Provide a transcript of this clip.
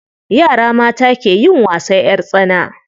Yara mata ke yin wasan ƴar tsana.